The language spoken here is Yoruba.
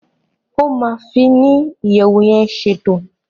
o ma fi ni iyẹwu yén ṣètò.